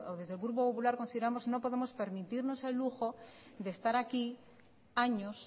desde el grupo popular consideramos que no podemos permitirnos el lujo de estar aquí años